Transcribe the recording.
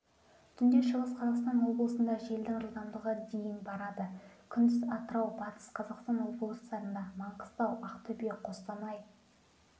түнде шығыс қазақстан облысында желдің жылдамдығы дейін барады күндіз атырау батыс қазақстан облыстарында маңғыстау ақтөбе қостанай